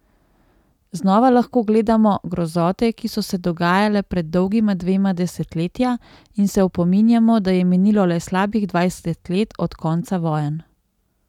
Znova lahko gledamo grozote, ki so se dogajale pred dolgima dvema desetletja in se opominjamo, da je minilo le slabih dvajset let od konca vojn.